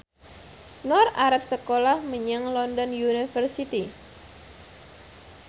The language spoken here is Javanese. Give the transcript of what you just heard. Nur arep sekolah menyang London University